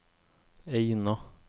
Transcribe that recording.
Eina